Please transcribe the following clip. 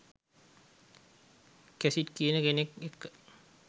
Cassidy කියන කෙනෙක් එක්ක.